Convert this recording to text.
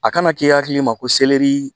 A kana kɛ hakilima ko selɛri